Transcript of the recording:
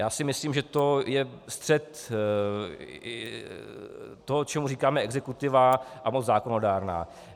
Já si myslím, že to je střet toho, čemu říkáme exekutiva a moc zákonodárná.